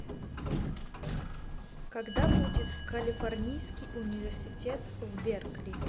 когда будет калифорнийский университет в беркли